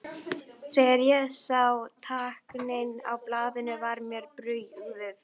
Þegar ég sá táknin á blaðinu var mér brugðið.